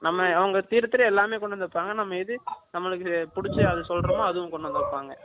நம்ம அவங்க தீர தீர எல்லாமே கொண்டு வந்து வைப்பாங்க நம்ம எது நமக்கு புடிச்சது அது சொல்றமோ அதுவும் கொண்டு வந்து வைப்பாங்க